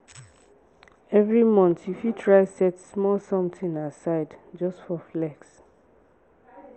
evri month yu fit try set small somtin aside just for flex.